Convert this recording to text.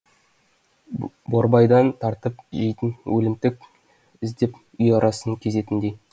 борбайдан тартып жейтін өлімтік іздеп үй арасын кезетіндей